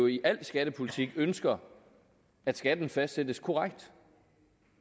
i al skattepolitik ønsker at skatten fastsættes korrekt